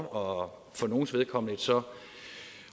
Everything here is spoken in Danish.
og for nogles vedkommende så